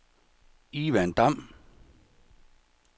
Ivan Damm